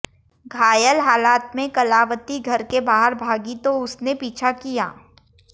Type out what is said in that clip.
घायल हालत में कलावती घर के बाहर भागी तो उसने पीछा किया